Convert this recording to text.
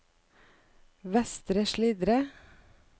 Vestre Slidre